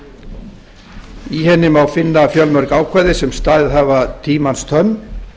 í henni má finna fjölmörg ákvæði sem staðið hafa tímans tönn